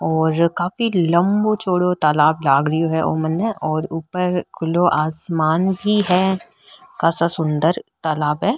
और काफी लम्बो चोड़ो तालाब लाग रियो है ओ मैंने और ऊपर खुले आसमान भी है कासा सुन्दर तालाब है।